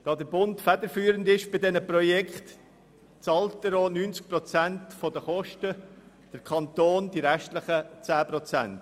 Da der Bund bei diesen Projekten federführend ist, zahlt er auch 90 Prozent der Kosten, der Kanton die restlichen zehn Prozent.